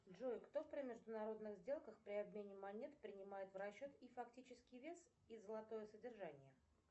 джой кто при международных сделках при обмене монет принимает в расчет и фактический вес и золотое содержание